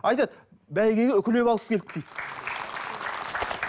айтады бәйгеге үкілеп алып келді дейді